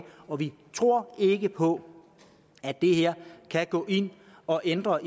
og vi tror ikke på at det her kan gå ind og ændre